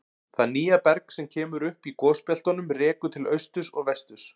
Það nýja berg sem kemur upp í gosbeltunum rekur til austurs og vesturs.